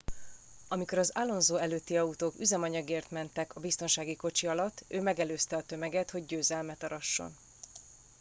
amikor az alonso előtti autók üzemanyagért mentek a biztonsági kocsi alatt ő megelőzte a tömeget hogy győzelmet arasson